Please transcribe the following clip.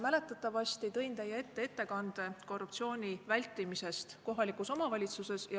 Mäletatavasti olen teie ette toonud ettekande korruptsiooni vältimisest kohalikus omavalitsuses.